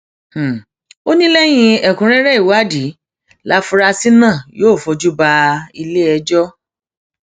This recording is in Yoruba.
ó ní lẹyìn ẹkúnrẹrẹ ìwádìí láfúrásì náà yóò fojú bá iléẹjọ